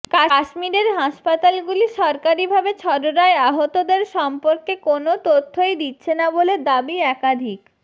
কাশ্মীরের হাসপাতালগুলি সরকারি ভাবে ছররায় আহতদের সম্পর্কে কোনও তথ্যই দিচ্ছে না বলে দাবি একাধিক